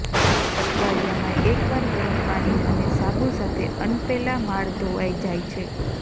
અઠવાડિયામાં એકવાર ગરમ પાણી અને સાબુ સાથે અનપ્પેલા માળ ધોવાઇ જાય છે